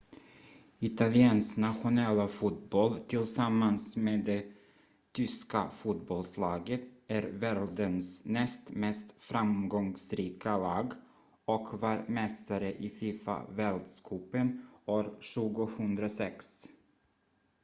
italiens nationella fotboll tillsammans med det tyska fotbollslaget är världens näst mest framgångsrika lag och var mästare i fifa-världscupen år 2006